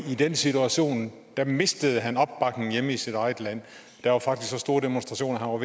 den situation mistede han opbakning hjemme i sit eget land der var faktisk så store demonstrationer